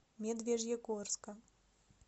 медвежьегорска